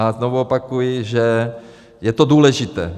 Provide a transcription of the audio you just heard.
A znovu opakuji, že je to důležité.